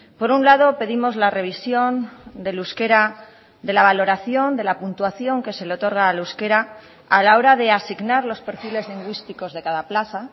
por un lado pedimos la revisión del euskera de la valoración de la puntuación que se le otorga al euskera a la hora de asignar los perfiles lingüísticos de cada plaza